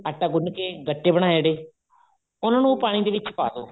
ਆਟਾ ਗੁੰਨ ਕੇ ਗੱਟੇ ਬਨਾਏ ਆ ਜਿਹੜੇ ਉਹਨਾ ਨੂੰ ਪਾਣੀ ਦੇ ਵਿੱਚ ਪਾਦੋ